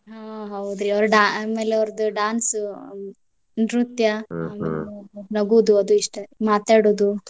ಹಾ ಹೌದ್ರಿ ಅವರ ಆಮೇಲ ಅವರ್ದ dance ನೃತ್ಯ ನಗುದು ಅದು ಇಷ್ಟ ಮಾತಾಡುದು.